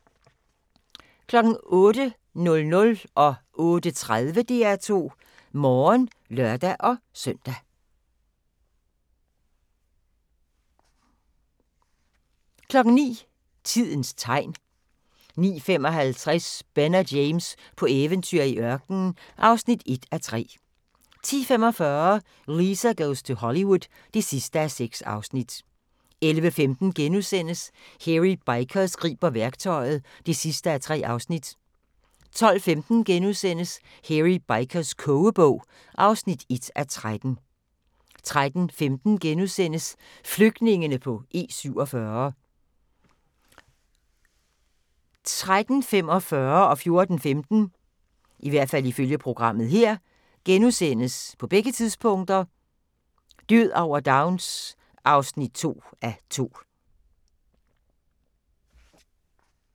08:00: DR2 Morgen (lør-søn) 08:30: DR2 Morgen (lør-søn) 09:00: Tidens tegn 09:55: Ben og James på eventyr i ørkenen (1:3) 10:45: Lisa goes to Hollywood (6:6) 11:15: Hairy Bikers griber værktøjet (3:3)* 12:15: Hairy Bikers kogebog (1:13)* 13:15: Flygtningene på E47 * 13:45: Død over Downs (2:2)* 14:15: Død over Downs (2:2)*